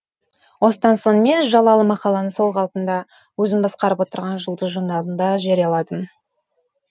осыдан соң мен жалалы мақаланы сол қалпында өзім басқарып отырған жұлдыз журналында жарияладым